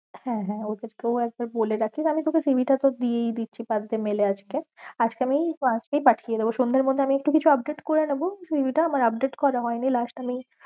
হ্যাঁ হ্যাঁ ওদের কেও একবার বলে রাখীস আমি তোকে cv টা তো দিয়েই দিচ্ছ first day mail এ আজকে, আজকে আমি রাত্রেই পাঠিয়েদেব সন্ধের মধ্যে আমি একটু কিছু update করেনেব cv টা, আমার update করা হয়েনি last আমি